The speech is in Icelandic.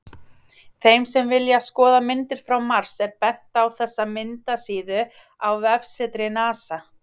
Þeim sem vilja skoða myndir frá Mars er bent á þessa myndasíðu á vefsetri NASA.